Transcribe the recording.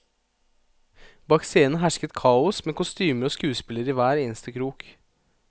Bak scenen hersket kaos, med kostymer og skuespillere i hver eneste krok.